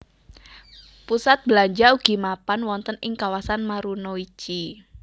Pusat belanja ugi mapan wonten ing kawasan Marunouchi